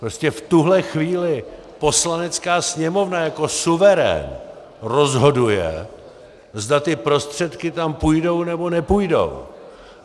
Prostě v tuhle chvíli Poslanecká sněmovna jako suverén rozhoduje, zda ty prostředky tam půjdou, nebo nepůjdou.